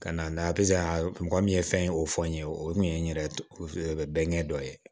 Ka na nka mɔgɔ min ye fɛn ye o fɔ n ye o kun ye n yɛrɛ bɛnkɛ dɔ ye